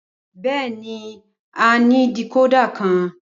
Bẹẹni, a ni decoder kan